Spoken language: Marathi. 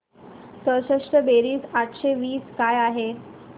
चौसष्ट बेरीज आठशे वीस काय आहे